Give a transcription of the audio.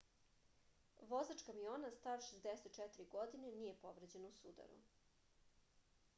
vozač kamiona star 64 godine nije povređen u sudaru